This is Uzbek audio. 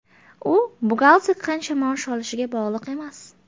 U buxgalter qancha maosh olishiga bog‘liq emas.